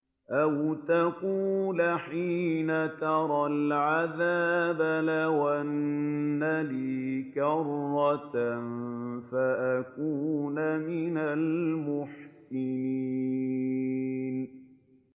أَوْ تَقُولَ حِينَ تَرَى الْعَذَابَ لَوْ أَنَّ لِي كَرَّةً فَأَكُونَ مِنَ الْمُحْسِنِينَ